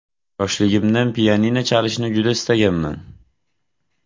Yoshligimdan pianino chalishni juda istaganman.